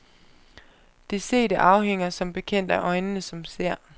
Det sete afhænger som bekendt af øjnene som ser.